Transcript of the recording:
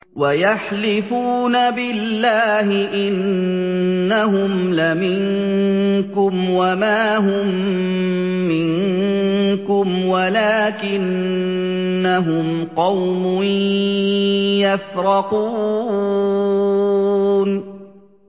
وَيَحْلِفُونَ بِاللَّهِ إِنَّهُمْ لَمِنكُمْ وَمَا هُم مِّنكُمْ وَلَٰكِنَّهُمْ قَوْمٌ يَفْرَقُونَ